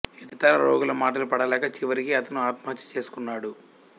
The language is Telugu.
ఇతర రోగుల మాటలు పడలేక చివరికి అతను ఆత్మహత్య చేసుకున్నాడు